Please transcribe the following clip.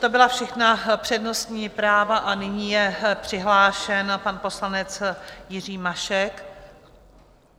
To byla všechna přednostní práva a nyní je přihlášen pan poslanec Jiří Mašek.